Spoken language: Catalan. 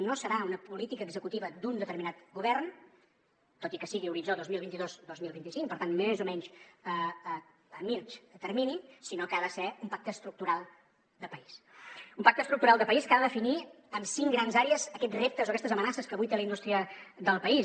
no serà una política executiva d’un determinat govern tot i que sigui horitzó dos mil vint dos dos mil vint cinc per tant més o menys a mitjà termini sinó que ha de ser un pacte estructural de país un pacte estructural de país que ha de definir amb cinc grans àrees aquests reptes o aquestes amenaces que avui té la indústria del país